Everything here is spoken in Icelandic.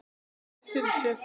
Hún hafði rétt fyrir sér.